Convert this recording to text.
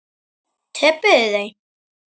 Töpuðu þau?